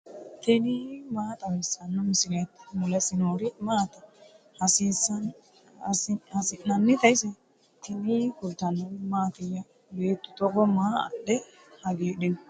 tini maa xawissanno misileeti ? mulese noori maati ? hiissinannite ise ? tini kultannori mattiya? beettu togo maa adhe hagiidhinno?